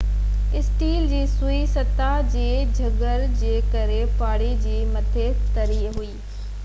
steel جي سوئي سطح جي جڪڙ جي ڪري پاڻي جي مٿي تري ٿي